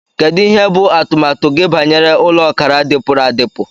Kedu ihe bụ atụmatụ gị banyere ụlọ ọkara dipuru adipu?